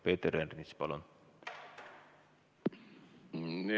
Peeter Ernits, palun!